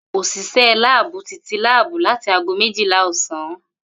Òs̩ìs̩é̩ láàbù ti ti láàbù láti aago méjìlá ò̩sán